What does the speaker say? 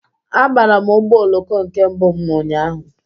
Abara m ụgbọ oloko nke mbụ m ụnyaahụ.